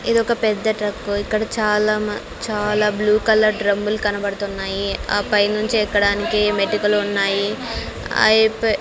ఇదొక పెద్ద ట్రక్కు ఇక్కడ చాలా మ చాలా బ్లూ కలర్ డ్రమ్ములు కనబడుతున్నాయి ఆ పైనుంచి ఎక్కడానికి మెటికలు ఉన్నాయి --